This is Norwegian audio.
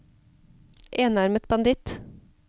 enarmet banditt